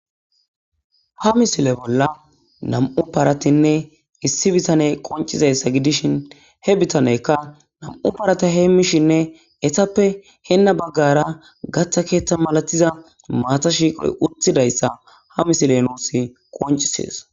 Ha missile bolla nam'u paratine issi bithaney qoncidaysa gidishi he bitan nam'u parata hemishine etape heno bagara katha keythay mallatiza mata shiqoy qolletiza utidaysa ha misiley nus qonccises